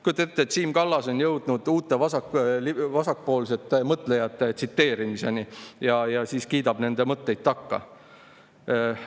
" Kujuta ette, Siim Kallas on jõudnud uute vasakpoolsete mõtlejate tsiteerimiseni ja kiidab nende mõtteid takka!